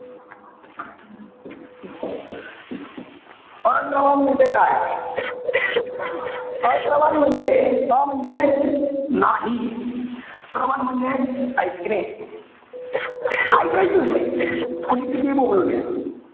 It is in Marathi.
अश्रवण म्हणजे काय? अश्रवण म्हणजे, अ म्हणजे? नाही. श्रवण म्हणजे, इकने. इकायचंच नाही. कोणी कितीही बोंबलू द्या.